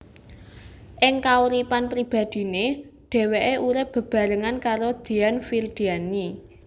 Ing kauripan pribadiné dheweké urip bebarengan karo Dian Firdianie